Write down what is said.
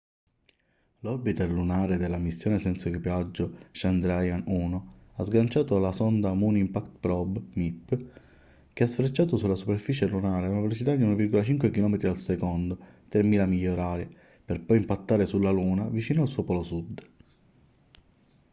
l'orbiter lunare della missione senza equipaggio chandrayaan-1 ha sganciato la sonda moon impact probe mip che ha sfrecciato sulla superficie lunare ad una velocità di 1,5 km/s 3000 miglia/h per poi impattare sulla luna vicino al suo polo sud